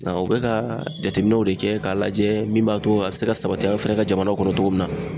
Nga o be kaa jateminɛw de kɛ k'a lajɛ min b'a to a be se ka sabati an fɛnɛ ka jamanaw kɔnɔ togo min na